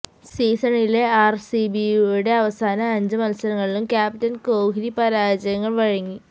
സീസണിലെ ആര്സിബിയുടെ അവസാന അഞ്ച് മത്സരങ്ങളിലും ക്യാപ്റ്റന് കോഹ് ലി പരാജയങ്ങള് വഴങ്ങി